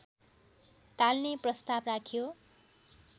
टाल्ने प्रस्ताव राख्यो